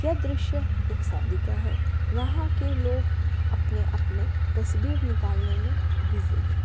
ये दृश्य एक शादी का है। यहां के लोग अपने-अपने तस्वीर निकालने में बिजी है।